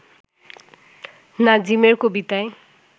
নাজিমের কবিতায়